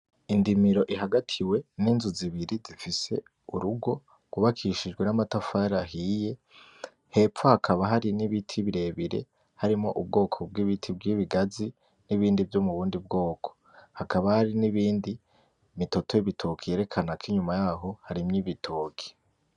Indimiro ihagatiwe ninzu zibiri zifise urugo rwubakishijwe namatafari ahiye. Hepfo hakaba hari nibiti birebire harimwo ubwoko bwibiti bwibigazi, nibindi vyo mubundi bwoko. Hakaba harini bindi, imitoto yibitoke yerekana ko inyuma yaho harimwo ibitoke.